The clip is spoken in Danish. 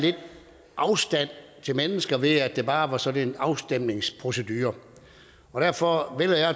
afstand til mennesker ved at det bare var sådan en afstemningsprocedure og derfor vælger